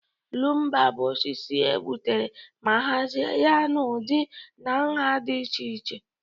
Lumba bụ osisi e gbuturu ma hazie ya n'ụdị na nha dị iche iche.